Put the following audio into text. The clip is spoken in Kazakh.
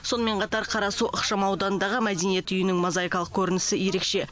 сонымен қатар қарасу ықшам ауданындағы мәдениет үйінің мозайкалық көрінісі ерекше